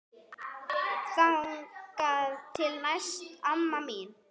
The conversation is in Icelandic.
Þangað til næst amma mín.